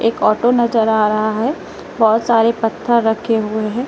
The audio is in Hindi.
एक ऑटो नजर आ रहा है बहुत सारे पत्थर रखे हुए हैं।